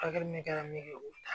Hakilina min kɛra min ye o